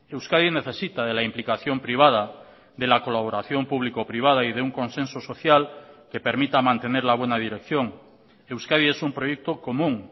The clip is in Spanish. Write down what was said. euskadi necesita de la implicación privada de la colaboración público privada y de un consenso social que permita mantener la buena dirección euskadi es un proyecto común